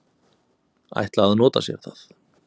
ætla að nota sér það.